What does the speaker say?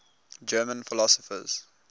german philosophers